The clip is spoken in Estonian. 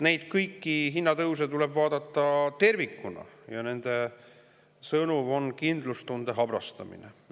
Kõiki neid hinnatõuse tuleb vaadata tervikuna ja nende sõnum on kindlustunde habrastamine.